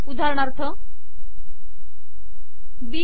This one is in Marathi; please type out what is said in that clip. उदाहरणार्थ बी